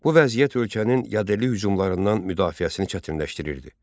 Bu vəziyyət ölkənin yadelli hücumlarından müdafiəsini çətinləşdirirdi.